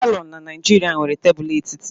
palọ na Naijiria nwere tebụl etiti.